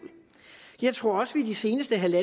jeg tror også at vi i de seneste